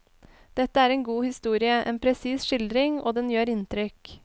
Dette er en god historie, en presis skildring, og den gjør inntrykk.